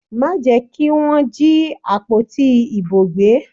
Má jẹ́ kí Wọ́n jí àpótí ìbò gbé!